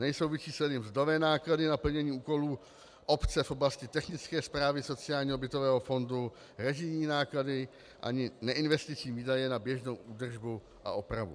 Nejsou vyčísleny mzdové náklady na plnění úkolů obce v oblasti technické správy sociálního bytového fondu, režijní náklady ani neinvestiční výdaje na běžnou údržbu a opravy.